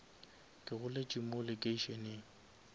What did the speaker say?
ke goletše mo lekeišeneng